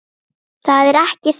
Það er ekki það.